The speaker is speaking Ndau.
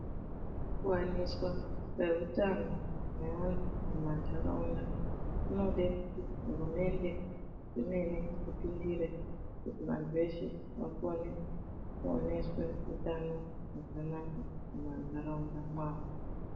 Kuwaniswa kwehutano neunhu muma ntharaunda kunode kuti hurumende yemene ipindire, kuti vanthu veshe vakone kuoneswe utano hwakanaka muma ntharaunda mwawo.